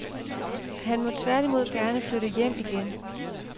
Han må tværtimod gerne flytte hjem igen.